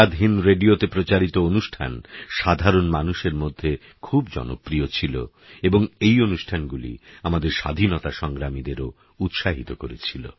আজাদ হিন্দ রেডিওতে প্রচারিত অনুষ্ঠান সাধারণ মানুষের মধ্যে খুব জনপ্রিয় ছিল এবং এই অনুষ্ঠানগুলি আমাদের স্বাধীনতা সংগ্রামীদেরও উৎসাহিত করেছিল